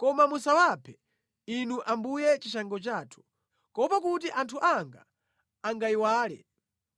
Koma musawaphe, Inu Ambuye chishango chathu, kuopa kuti anthu anga angayiwale.